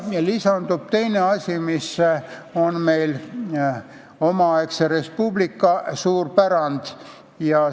Siia lisandub teine asi, mis on meil omaaegse Res Publica pärand.